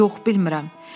Yox, bilmirəm.